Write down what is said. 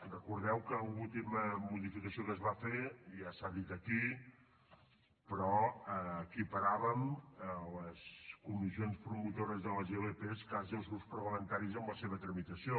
recordeu que l’última moció que es va fer ja s’ha dit aquí però equiparàvem les comissions promotores de les ilp quasi als grups parlamentaris en la seva tramitació